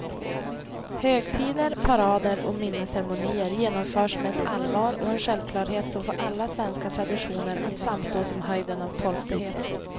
Högtider, parader och minnesceremonier genomförs med ett allvar och en självklarhet som får alla svenska traditioner att framstå som höjden av torftighet.